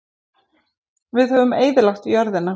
Við höfum eyðilagt jörðina.